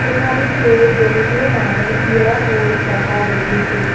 কোঠালিটোত বহুতো মানুহ থিয় হৈ থকা দেখিছোঁ।